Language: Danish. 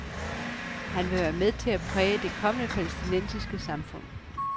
Han vil være med til at præge det kommende palæstinensiske samfund.